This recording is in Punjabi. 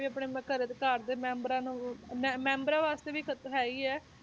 ਆਪਣੇ ਘਰੇ ਘਰ ਦੇ ਮੈਂਬਰਾਂ ਨੂੰ ਮੈਂ~ ਮੈਂਬਰਾਂ ਵਾਸਤੇ ਵੀ ਖ਼ਤਰਾ ਹੈ ਹੀ ਹੈ